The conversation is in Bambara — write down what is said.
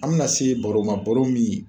An mi na se baro ma, baro min